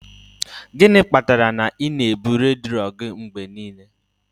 Gịnị kpatara na ị na-ebu redio gị mgbe niile?